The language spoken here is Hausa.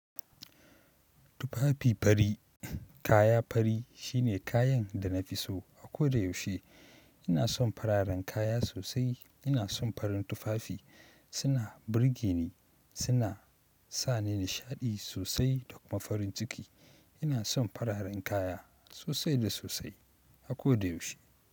Tufafi fari, kaya fari shine kayan da na fi so a ko da yaushe. Ina son fararen kaya sosai. Ina son farin tufafi, suna burge ni, suna sa ni nishaɗi sosai da kuma farin ciki. Ina son fararen kaya sosai da sosai a ko da yaushe.